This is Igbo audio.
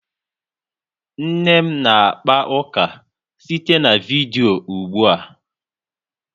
Nne m na-akpọ ụka site na vidiyo ụgbua